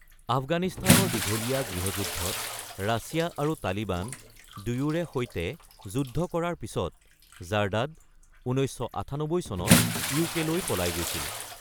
আফগানিস্তানৰ দীঘলীয়া গৃহযুদ্ধত ৰাছিয়া আৰু তালিবান দুয়োৰে সৈতে যুদ্ধ কৰাৰ পিছত জাৰ্দাদ ১৯৯৮ চনত ইউকেলৈ পলাই গৈছিল।